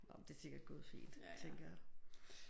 Nåh men det er sikkert gået fint tænker jeg